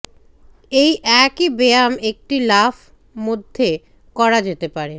এই একই ব্যায়াম একটি লাফ মধ্যে করা যেতে পারে